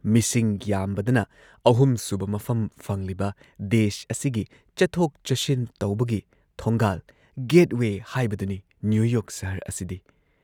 ꯃꯤꯁꯤꯡ ꯌꯥꯝꯕꯗꯅ ꯑꯍꯨꯝꯁꯨꯕ ꯃꯐꯝ ꯐꯪꯂꯤꯕ ꯗꯦꯁ ꯑꯁꯤꯒꯤ ꯆꯠꯊꯣꯛ ꯆꯠꯁꯤꯟ ꯇꯧꯕꯒꯤ ꯊꯣꯡꯒꯥꯜ, ꯒꯦꯠ ꯋꯦ ꯍꯥꯏꯕꯗꯨꯅꯤ ꯅ꯭ꯌꯨ ꯌꯣꯔꯛ ꯁꯍꯔ ꯑꯁꯤꯗꯤ ꯫